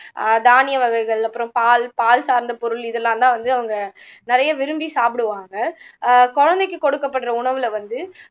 ஆஹ் தானிய வகைகள் அப்பறம் பால் பால் சார்ந்த பொருள் இதெல்லாம் வந்து அவங்க நிறைய விரும்பி சாப்பிடுவாங்க ஆஹ் குழந்தைக்கு கொடுக்கபடுற உணவுல வந்து